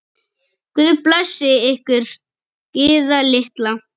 Guð blessi ykkur, Gyða litla.